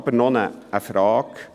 Ich habe jedoch noch eine Frage: